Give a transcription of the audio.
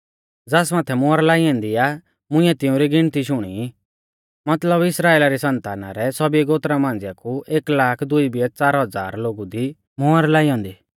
ज़ास माथै मुहर लाई ऐन्दी आ मुंइऐ तिउंरी गिनती शुणी मतलब इस्राइला री संताना रै सौभी गोत्रा मांझ़िया कु एक लाख दुई बियै च़ार हज़ार लोगु दी मुहर लाई ऐन्दी